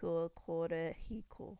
kua kore hiko